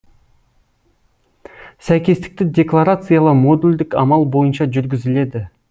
сәйкестікті декларациялау модульдік амал бойынша жүргізіледі